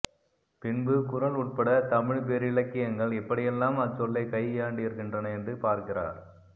பின்பு குறள் உட்பட தமிழ்ப்பேரிலக்கியங்கள் எப்படியெல்லாம் அச்சொல்லைக் கையாண்டிருக்கின்றன என்று பார்க்கிறார்